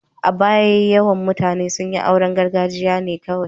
A baya, mafi yawan mutane sun yi auren gargajiya ne kawai.